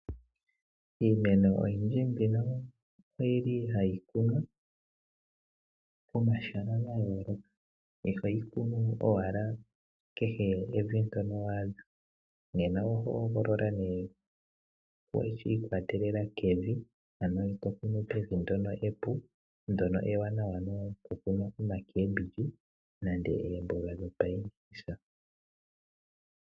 Iimeno oyindji mbino ohayi kunwa pomahala ga yooloka, iho yi kunu owala kehe mevi ndyono wa adha, oho hogolola nee shi ikwatelela kevi, to kunu mevi ndyono epu, ndyono ewanawa nokukuna oomboga.